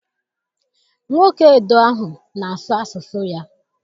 Nwoke Edo ahụ na-asụ asụsụ ya.